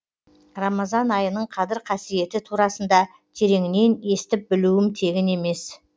рамазан айының қадір қасиеті турасында тереңінен естіп білуім тегін емес